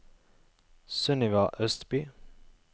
Sunniva Østby